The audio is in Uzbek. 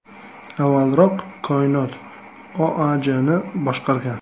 Avvalroq “Koinot” OAJni boshqargan.